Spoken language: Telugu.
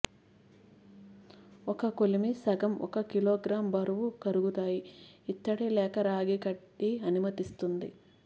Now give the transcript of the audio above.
ఒక కొలిమి సగం ఒక కిలోగ్రాం బరువు కరుగుతాయి ఇత్తడి లేక రాగి కడ్డీ అనుమతిస్తుంది